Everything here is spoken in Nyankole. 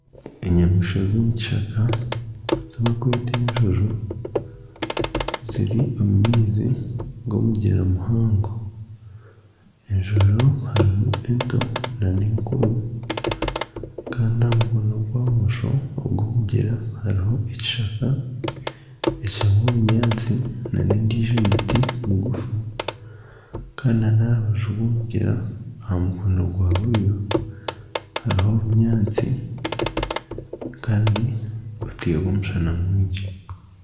Enyamaishwa z'omukishaka ezi bakweta enjojo ziri omu maizi g'omugyera muhango. Enjojo harimu ento n'enkuru. Kandi aha mukono gwa bumosho ogw'omugyera hariho ekishaka ekirimu obunyaatsi n'endiijo miti migufu. Kandi n'aha rubaju rw'omugyera aha mukono gwa buryo hariho obunyaatsi kandi haaterwa omushana mwingi.